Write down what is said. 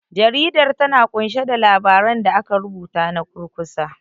Jaridar, ta na ƙunshe da labaran da aka rubuta na kurkusa.